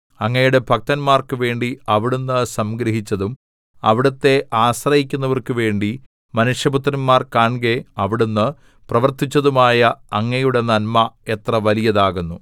അങ്ങയുടെ ഭക്തന്മാർക്കു വേണ്ടി അവിടുന്ന് സംഗ്രഹിച്ചതും അവിടുത്തെ ആശ്രയിക്കുന്നവർക്കു വേണ്ടി മനുഷ്യപുത്രന്മാർ കാൺകെ അവിടുന്ന് പ്രവർത്തിച്ചതുമായ അങ്ങയുടെ നന്മ എത്ര വലിയതാകുന്നു